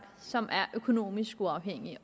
som er økonomisk uafhængige